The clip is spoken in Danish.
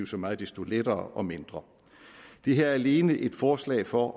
så meget desto lettere og mindre det her er alene et forslag for